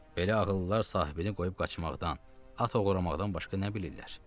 Belə ağıllılar sahibini qoyub qaçmaqdan, at oğurlamaqdan başqa nə bilirlər?